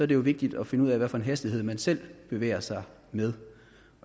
det jo vigtigt at finde ud af hvilken hastighed man selv bevæger sig med